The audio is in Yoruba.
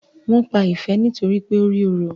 Wón pá Ìfẹ nitoripe o rí òrò